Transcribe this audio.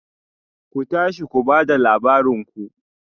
Ku tashi ku ba da labarin ku